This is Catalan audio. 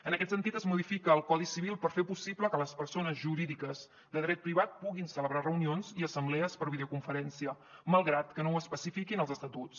en aquest sentit es modifica el codi civil per fer possible que les persones jurídiques de dret privat puguin celebrar reunions i assemblees per videoconferència malgrat que no ho especifiquin els estatuts